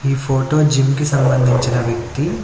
ఈ photo gym కి సంబంధించిన వ్యక్తి--